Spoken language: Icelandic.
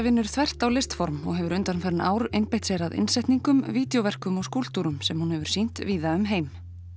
vinnur þvert á listform og hefur undanfarin ár einbeitt sér að innsetningum vídjóverkum og skúlptúrum sem hún hefur sýnt víða um heim